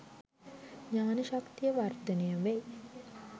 ඥාන ශක්තිය වර්ධනය වේ.